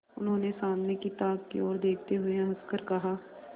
उन्होंने सामने की ताक की ओर देखते हुए हंसकर कहा